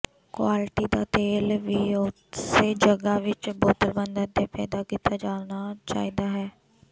quality ਦਾ ਤੇਲ ਵੀ ਉਸੇ ਜਗ੍ਹਾ ਵਿੱਚ ਬੋਤਲਬੰਦ ਅਤੇ ਪੈਦਾ ਕੀਤਾ ਜਾਣਾ ਚਾਹੀਦਾ ਹੈ